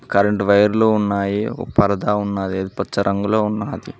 Current వైర్లు ఉన్నాయి ఒక పరదా ఉన్నది అది పచ్చ రంగులో ఉన్నది.